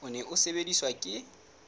o ne o sebediswa ke